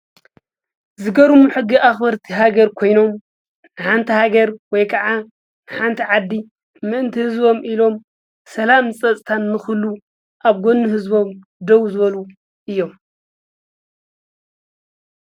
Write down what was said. ዝገርሙ ሕጊ አኽበርቲ ሃገር ኮይኖም ሓንቲ ሃገር ወይ ከዓ ሓንቲ ዓዲ ምእንተ ህዝቦም ኢሎም ሰላምን ፀፅታን ንክህሉ አብ ጎኒ ህዝቦም ደው ዝበሉ እዮም።